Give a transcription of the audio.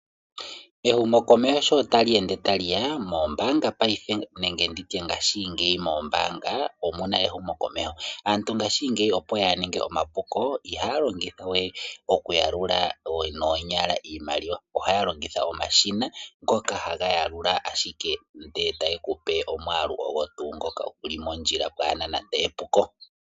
humokomesho sho ta li ende tali ya, moombaanga paife nenge nditye ngaashingeyi moombaanga omuna ehumokomeho. Aantu ngaashingeyi opo yaaninge omapuko ihaa longitha we okuyalula noonyala iimaliwa, ohaya longitha omashina ngoka haga yalula ashike ndele tali kupe omwaalu ogo tuu ngoka guli mondjila paana nande epuko.